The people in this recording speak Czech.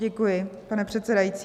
Děkuji, pane předsedající.